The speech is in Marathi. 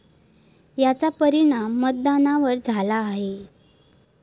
याचा परिणाम मतदानावर झाला आहे.